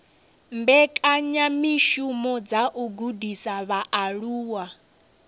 mbekanyamishumo dza u gudisa vhaaluwa